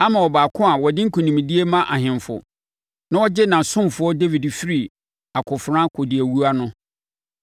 ama Ɔbaako a ɔde nkonimdie ma ahemfo, na ɔgye ne ɔsomfoɔ Dawid firi akofena kɔdiawuo ano.